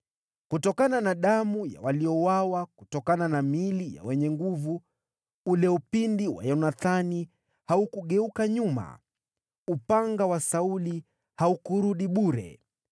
Kutokana na damu ya waliouawa, kutokana na miili ya wenye nguvu, ule upinde wa Yonathani haukugeuka nyuma. Upanga wa Sauli haukurudi bure.